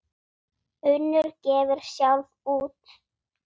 Unnur gefur sjálf út.